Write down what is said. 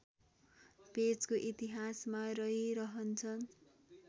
पेजको इतिहासमा रहिरहन्छ